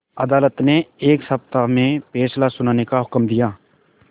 अदालत ने एक सप्ताह में फैसला सुनाने का हुक्म दिया